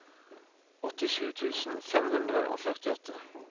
åttisju tusen fem hundre og førtiåtte